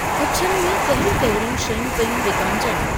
गुच्छनि में कहिड़ियूं-कहिड़ियूं शयूं पेयूं विकामजनि?